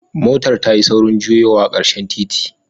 Motar motar tayi saurin juyowa a karshen titin.